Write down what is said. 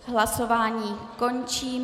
Hlasování končím.